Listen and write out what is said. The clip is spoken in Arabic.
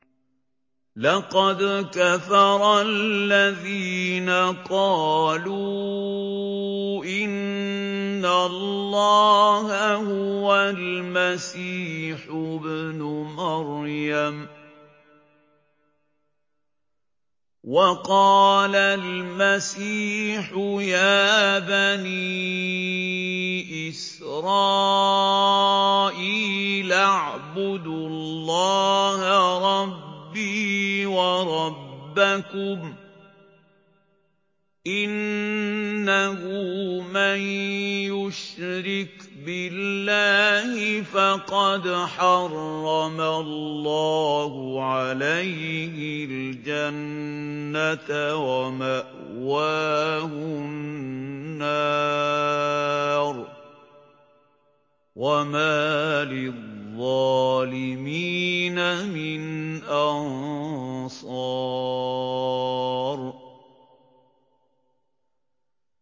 لَقَدْ كَفَرَ الَّذِينَ قَالُوا إِنَّ اللَّهَ هُوَ الْمَسِيحُ ابْنُ مَرْيَمَ ۖ وَقَالَ الْمَسِيحُ يَا بَنِي إِسْرَائِيلَ اعْبُدُوا اللَّهَ رَبِّي وَرَبَّكُمْ ۖ إِنَّهُ مَن يُشْرِكْ بِاللَّهِ فَقَدْ حَرَّمَ اللَّهُ عَلَيْهِ الْجَنَّةَ وَمَأْوَاهُ النَّارُ ۖ وَمَا لِلظَّالِمِينَ مِنْ أَنصَارٍ